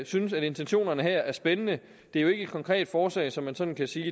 synes at intentionerne her er spændende det er jo ikke et konkret forslag som man sådan kan sige